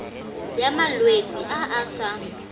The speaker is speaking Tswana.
ya malwetse a a sa